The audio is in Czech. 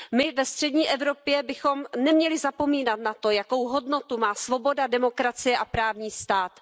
My ve střední Evropě bychom neměli zapomínat na to, jakou hodnotu má svoboda, demokracie a právní stát.